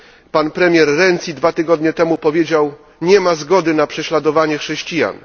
Pan premier Renzi dwa tygodnie temu powiedział Nie ma zgody na prześladowanie chrześcijan.